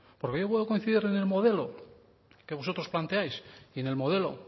porque yo puedo coincidir en el modelo que vosotros planteáis y en el modelo